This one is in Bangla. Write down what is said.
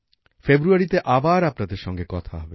ফেব্রুয়ারিতে আবার আপনাদের সঙ্গে কথা হবে